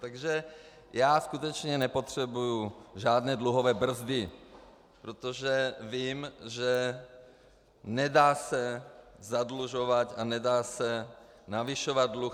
Takže já skutečně nepotřebuji žádné dluhové brzdy, protože vím, že nedá se zadlužovat a nedá se navyšovat dluh.